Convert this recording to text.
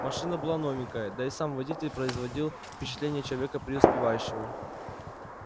машина была новенькая да и сам водитель производил впечатление человека преуспевающего